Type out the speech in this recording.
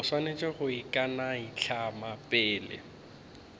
o swanetše go ikanaitlama pele